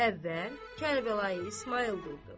Əvvəl Kərbəlayı İsmayıl durdu.